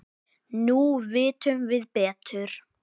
Nú vitum við betur.